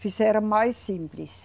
Fizeram mais simples.